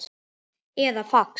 eða fax